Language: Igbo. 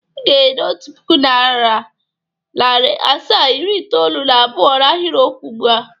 I ga-ede Otu puku, nari asaa, iri itoolu na abụo n'ahiriokwu ugbu a!